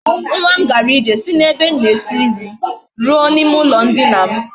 Nwa m gara ije si na ebe m na esi nri ruo na ime ulo ndina m